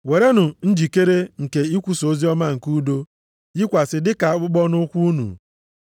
Werenụ njikere nke ikwusa oziọma nke udo yikwasị dị ka akpụkpọ nʼụkwụ unu.